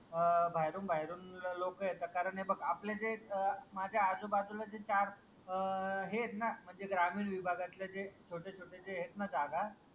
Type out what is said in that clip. अह बाहेरून बाहेरून लोक येतात कारण हे बघ आपलं जे अह माझ्या आजूबाजूला जे चार अह हे आहेत ना म्हणजे ग्रामीण विभागातले जे छोट्या छोट्या जे आहेत ना जागा.